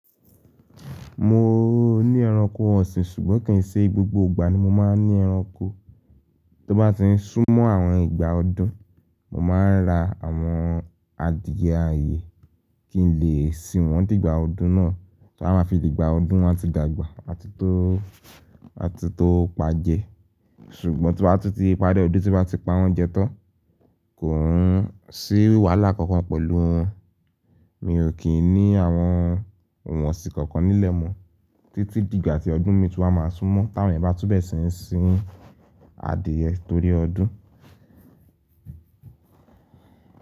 Mo ní ẹranko ọ̀sìn, ṣùgbọ́n kì í ṣe gbogbo ìgbà ni mo máa ń ní ẹranko. Tí ó bá ti ń sún mọ́ àwọn ìgbà ọdún, mo máa ń ra àwọn adìẹ ààyè kí n lè sìn wọ́n dìgbà ọdún náà. Ta a máa fi dìgbà ọdún wọn a ti dàgbà àti tó, àti tó pa jẹ? Ṣùgbọ́n tí wọ́n bá ti parí ọdún, tí wọ́n bá ti pa wọ́n jẹ tán, kò hán sí wàhálà kankan pẹ̀lú wọn. Mi ò kí ń ní àwọn òǹwọ̀nsì kankan nílẹ̀ mọ títí dìgbà tí ọdún mi tú a máa sún mọ́. Táwọn èèyàn bá túbẹ ṣì ń sin adìyẹ torí ọdún.